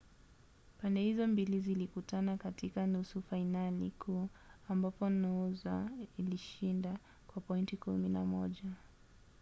pande hizo mbili zilikutana katika nusu fainali kuu ambapo noosa ilishinda kwa pointi 11